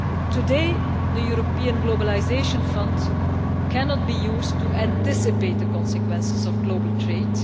Today, the European Globalisation Fund cannot be used to anticipate the consequences of global trade